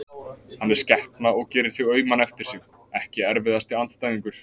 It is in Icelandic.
Hann er skepna og gerir þig auman eftir sig Ekki erfiðasti andstæðingur?